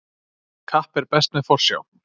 Kapp er best með forsjá.